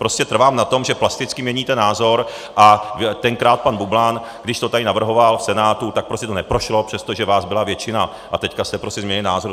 Prostě trvám na tom, že plasticky měníte názor, a tenkrát pan Bublan, když to tady navrhoval v Senátu, tak prostě to neprošlo, přestože vás byla většina, a teď jste prostě změnili názor.